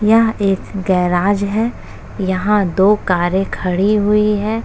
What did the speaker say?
यह एक गैराज है। यहाँ दो कारें खड़ी हुई है।